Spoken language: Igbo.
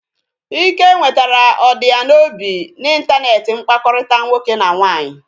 Ike nwetara ọdi ya n'obi na intaneti mkpakọrịta nwoke na nwaanyị